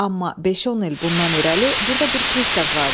Amma beş-on il bundan irəli burda bir pristav vardı.